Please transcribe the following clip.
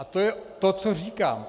A to je to, co říkám.